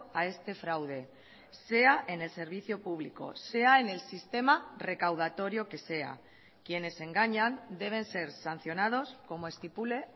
a este fraude sea en el servicio público sea en el sistema recaudatorio que sea quienes engañan deben ser sancionados como estipule